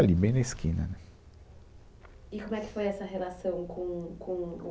Ali, bem na esquina né. E como é que foi essa relação com o, com o